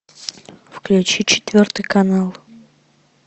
включи четвертый канал